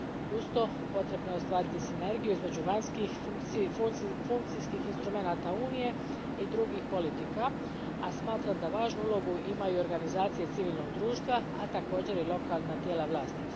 Uz to, potrebno je ostvariti sinergiju između vanjskih funkcijskih instrumenata Unije i drugih politika, a smatram da važnu ulogu imaju i organizacije civilnog društva, a također i lokalna tijela vlasti.